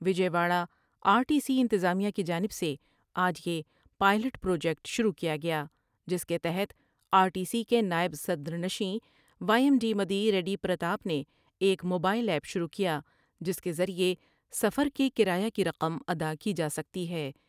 Vijay Wada R T C انتظامیہ کی جانب سے آج یہ پائیلٹ پراجیکٹ شروع کیا گیا جس کے تحت آرٹی سی کے نائب صدرنشین وایم ڈی مدی ریڈی پرتاب نے ایک موبائیل ایپ شروع کیا جس کے ذریعہ سفر کے کرایہ کی رقم ادا کی جاسکتی ہے ۔